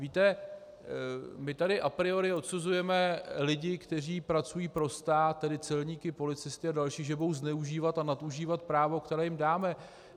Víte, my tady a priori odsuzujeme lidi, kteří pracují pro stát, tedy celníky, policisty a další, že budou zneužívat a nadužívat právo, které jim dáme.